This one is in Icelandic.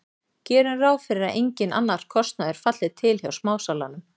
Gerum ráð fyrir að enginn annar kostnaður falli til hjá smásalanum.